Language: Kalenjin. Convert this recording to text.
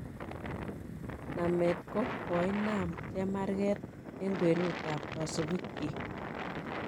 Namet koh koinam chemarget en kwenut ab kasupik kyik